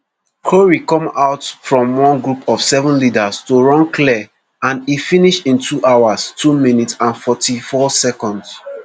korir come out from one group of seven leaders to run clear and e finish in two hours two minutes and forty-four seconds